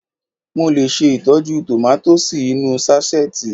Mo lè ṣe ìtọ́jú tòmátósì inú ú sáṣẹ́ẹ̀tì